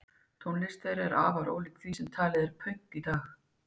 Tónlist þeirra er afar ólík því sem talið er pönk í dag.